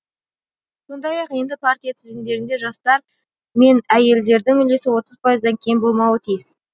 сондай ақ енді партия тізімдерінде жастар менәйелдердің үлесі отыз пайыздан кем болмауы тиіс